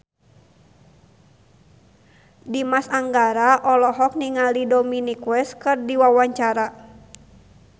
Dimas Anggara olohok ningali Dominic West keur diwawancara